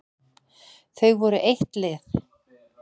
Þau voru eitt lið.